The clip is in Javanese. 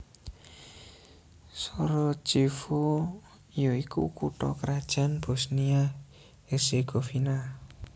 Sarajevo ya iku kutha krajan Bosnia Herzegovina